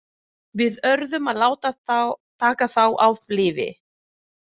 Við urðum að láta taka þá af lífi.